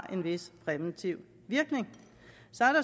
en vis præventiv virkning